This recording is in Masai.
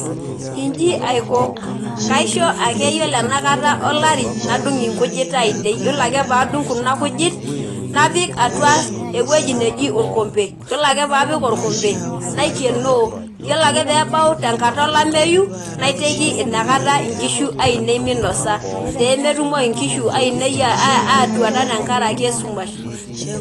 Inji aiko kaisho ake ore enakata olari nadung inkujit ainei , yiolo ake padung kuna kujit napik atua ewueji neji orkompe , yiolo ake paapik orkombe naikienoo, yiolo ake peebaeu enkata olameyu naiteiki inakata inkishu ainei minosa pemetumoki inkishu ainei atuata tenkaraki esumash.